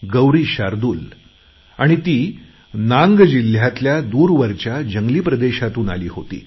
गौरी शार्दूल आणि ती नांग जिल्ह्यातल्या दुर्गम जंगलातून आली होती